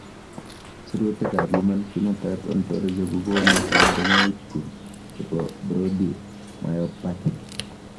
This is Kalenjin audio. Sirutikab Human Phenotype Ontology kokonu koborunoikchu chebo Brody myopathy.